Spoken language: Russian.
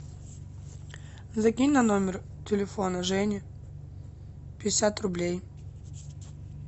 закинь на номер телефона жени пятьдесят рублей